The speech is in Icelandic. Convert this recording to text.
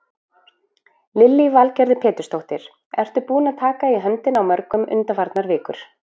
Lillý Valgerður Pétursdóttir: Ertu búinn að taka í höndina á mörgum undanfarnar vikur?